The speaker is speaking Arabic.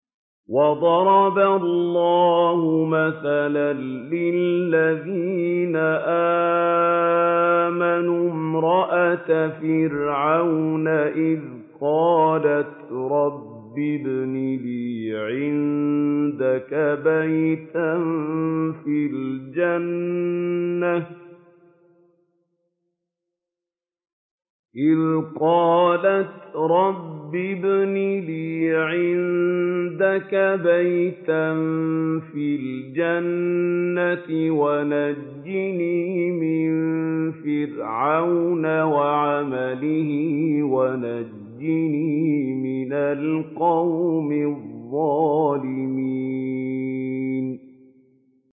وَضَرَبَ اللَّهُ مَثَلًا لِّلَّذِينَ آمَنُوا امْرَأَتَ فِرْعَوْنَ إِذْ قَالَتْ رَبِّ ابْنِ لِي عِندَكَ بَيْتًا فِي الْجَنَّةِ وَنَجِّنِي مِن فِرْعَوْنَ وَعَمَلِهِ وَنَجِّنِي مِنَ الْقَوْمِ الظَّالِمِينَ